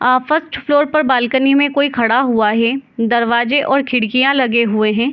अ first floor पर balcony में कोई खड़ा हुआ हे दरवाजे और खिड़कियाँ लगे हुए हें।